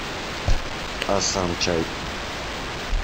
асан чай